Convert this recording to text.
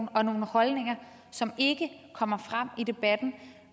og nogle holdninger som ikke kommer frem i debatten